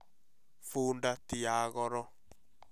Funda ti ya goro